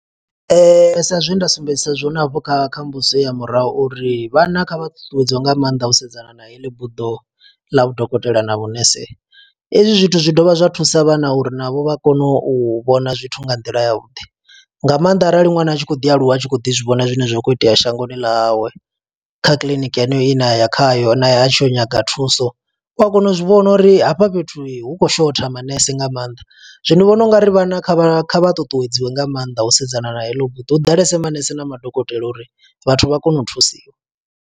Sa zwe nda sumbedzisa zwone hafhu kha kha mbudziso heyo ya murahu uri vhana kha vha ṱuṱuwedziwe nga maanḓa u sedzana na heḽi buḓo ḽa vhudokotela na vhunese. Hezwi zwithu zwi dovha zwa thusa vhana uri navho vha kone u vhona zwithu nga nḓila ya vhuḓi, nga maanḓa arali ṅwana a tshi khou ḓi aluwa a tshi khou ḓi zwivhona zwine zwa kho itea shangoni ḽawe. Kha kiḽiniki heneyo ine a ya khayo naye a tshi ya u nyaga thuso, u a kona u zwi vhona uri hafha fhethu hu khou shotha manese nga maanḓa. Zwino ndi vhona u nga ri vhana kha vha kha vha ṱuṱuwedziwe nga maanḓa u sedzana na heḽo buḓi, hu ḓalese manese na madokotela uri vhathu vha kone u thusiwa.